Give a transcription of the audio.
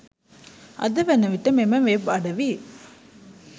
අද වනවිට මෙම වෙබ් අඩවි